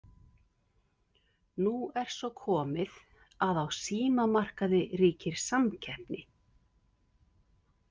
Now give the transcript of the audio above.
Nú er svo komið að á símamarkaði ríkir samkeppni.